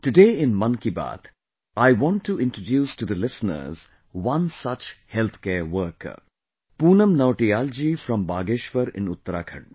Today in Mann ki Baat, I want to introduce to the listeners, one such healthcare worker, Poonam Nautiyal ji from Bageshwar in Uttarakhand